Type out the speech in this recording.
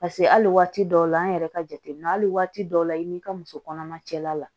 Paseke hali waati dɔw la an yɛrɛ ka jateminɛ hali waati dɔw la i n'i ka musokɔnɔma cɛla la